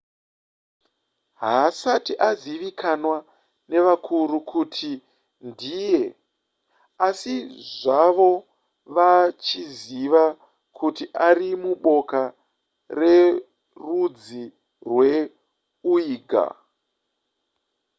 haasati azivikanwa nevakuru kuti ndiyani asi zvavo vachiziva kuti ari muboka rerudzi rweuighur